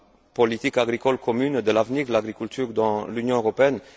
politique agricole commune, de l'avenir de l'agriculture dans l'Union européenne.